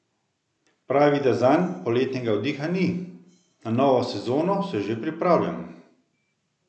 Pravi, da zanj poletnega oddiha ni: 'Na novo sezono se že pripravljam.